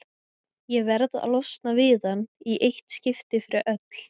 Ég verð að losna við hann í eitt skipti fyrir öll.